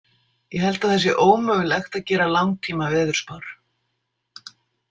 Ég held að það sé ómögulegt að gera langtímaveðurspár